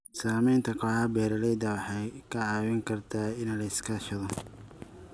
Samaynta kooxaha beeralayda waxay kaa caawin kartaa in la iska kaashado.